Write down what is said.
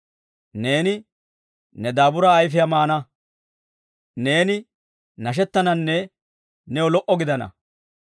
Neeni ne daaburaa ayifiyaa maana; neeni nashettananne new lo"o gidana.